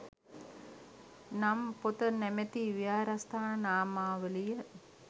නම් පොත නමැති විහාරස්ථාන නාමාවලිය